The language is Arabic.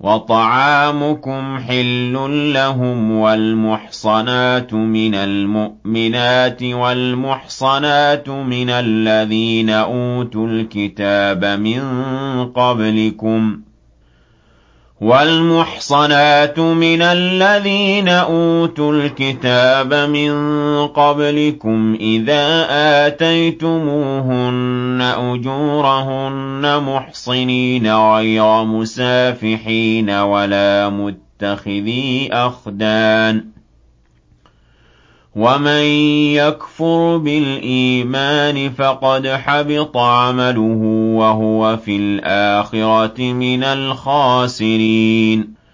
وَطَعَامُكُمْ حِلٌّ لَّهُمْ ۖ وَالْمُحْصَنَاتُ مِنَ الْمُؤْمِنَاتِ وَالْمُحْصَنَاتُ مِنَ الَّذِينَ أُوتُوا الْكِتَابَ مِن قَبْلِكُمْ إِذَا آتَيْتُمُوهُنَّ أُجُورَهُنَّ مُحْصِنِينَ غَيْرَ مُسَافِحِينَ وَلَا مُتَّخِذِي أَخْدَانٍ ۗ وَمَن يَكْفُرْ بِالْإِيمَانِ فَقَدْ حَبِطَ عَمَلُهُ وَهُوَ فِي الْآخِرَةِ مِنَ الْخَاسِرِينَ